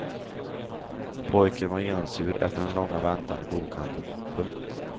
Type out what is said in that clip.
Pojken var genomsur efter den långa väntan i bokhandeln. punkt